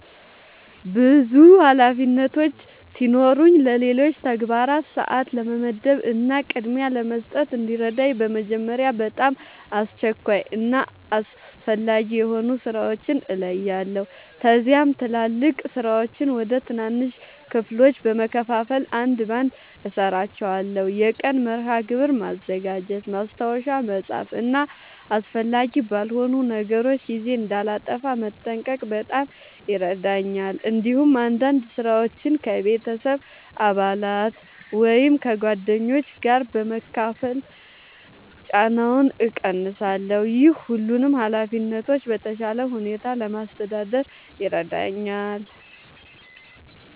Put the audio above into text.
ብዙ ኃላፊነቶች ሲኖሩኝ ለሌሎች ተግባራት ሰአት ለመመደብ እና ቅድሚያ ለመስጠት እንዲረዳኝ በመጀመሪያ በጣም አስቸኳይ እና አስፈላጊ የሆኑ ሥራዎችን እለያለሁ። ከዚያም ትላልቅ ሥራዎችን ወደ ትናንሽ ክፍሎች በመከፋፈል አንድ በአንድ እሠራቸዋለሁ። የቀን መርሃ ግብር ማዘጋጀት፣ ማስታወሻ መጻፍ እና አስፈላጊ ባልሆኑ ነገሮች ጊዜ እንዳላጠፋ መጠንቀቅ በጣም ይረዳኛል። እንዲሁም አንዳንድ ሥራዎችን ከቤተሰብ አባላት ወይም ከጓደኞች ጋር በመካፈል ጫናውን እቀንሳለሁ። ይህ ሁሉንም ኃላፊነቶች በተሻለ ሁኔታ ለማስተዳደር ይረዳኛል።